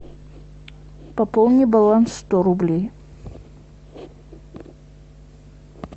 пополни баланс сто рублей